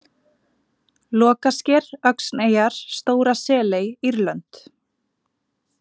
Lokasker, Öxneyjar, Stóra-Seley, Írlönd